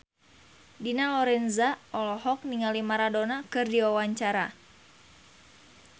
Dina Lorenza olohok ningali Maradona keur diwawancara